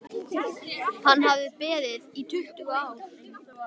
Hann hafði beðið í tuttugu ár.